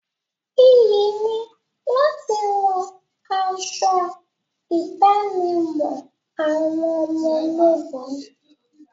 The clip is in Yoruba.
Iyì ni láti wọ aṣọ ìdánimọ̀ àwọn ọmọ ológun.